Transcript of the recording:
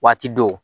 Waati dɔw